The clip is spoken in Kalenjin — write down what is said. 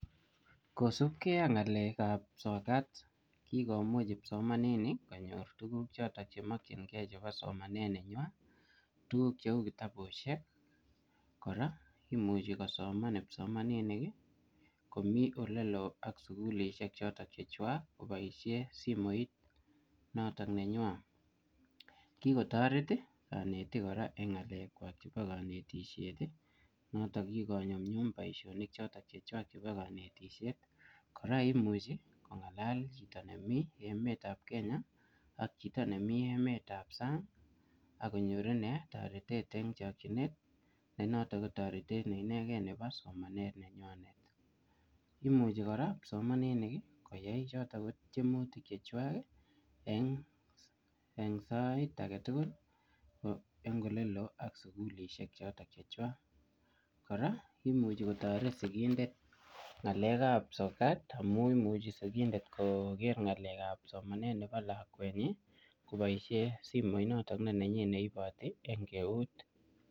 Kosup kee ak ngaleek ap sotat kikomuch kipsomanin konyorchigee tugguk cheuu kitabusheek kora komuchii kosoman kipsomanisheek kikotareet kipsomaninik eng ngalek ap kanetisheet ak konyor chotok konyor taritet eng emet notok nepo sang imuchi kotaret sikindet kora konaii ngaleek ap somaneet chepo lakwen nyii